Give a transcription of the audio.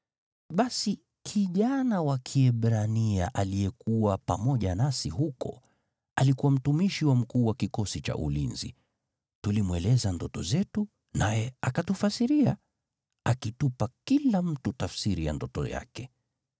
Basi kijana wa Kiebrania aliyekuwa pamoja nasi huko, alikuwa mtumishi wa mkuu wa kikosi cha ulinzi. Tulimweleza ndoto zetu, naye akatufasiria, akitupa kila mtu tafsiri ya ndoto yake.